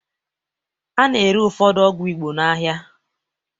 A na-ere ụfọdụ ọgwụ Igbo n'ahịa